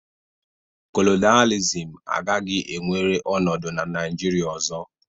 Kolonịalizim agaghị enwere ọnọdụ na Naịjirịa ọzọ.